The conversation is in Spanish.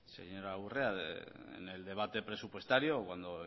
señora urrea en el debate presupuestario cuando